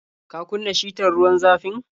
Ka kunna shitar ruwan zafin?